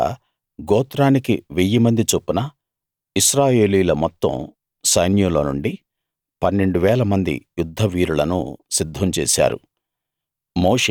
ఆ విధంగా గోత్రానికి వెయ్యి మంది చొప్పున ఇశ్రాయేలీయుల మొత్తం సైన్యంలో నుండి పన్నెండు వేల మంది యుద్ధ వీరులను సిద్ధం చేశారు